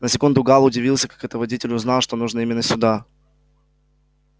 на секунду гаал удивился как это водитель узнал что нужно именно сюда